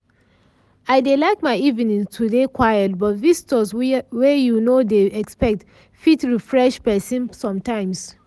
i dey like my evenings to dey quiet but visitors wey you nor dey expect fit refresh pesin sometimes